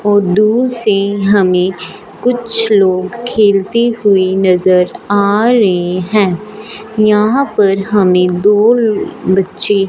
बहोत दूर से हमें कुछ लोग खेलते हुए नज़र आ रहे हैं। यहां पर हमें दो बच्चे --